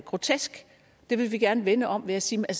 grotesk det vil vi gerne vende om ved at sige at